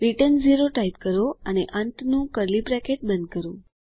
return 0 type કરો અને અંતનું કર્લી બ્રેકેટ બંધ કરો